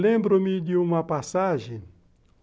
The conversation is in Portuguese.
Lembro-me de uma passagem.